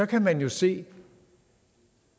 kan man jo se